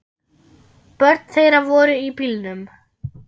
Börn þeirra voru í bílnum.